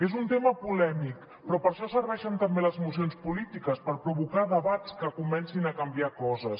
és un tema polèmic però per a això serveixen també les mocions polítiques per provocar debats que comencin a canviar coses